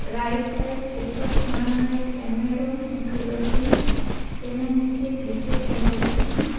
Right side ઉપર ખૂણામાં એક કેમેરો મુકેલો છે તેના નીચે એક બીજો કેમેરો છે.